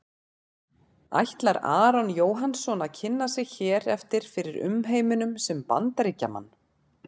Ætlar Aron Jóhannsson að kynna sig hér eftir fyrir umheiminum sem Bandaríkjamann?